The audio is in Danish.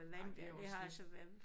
Nej det er også lidt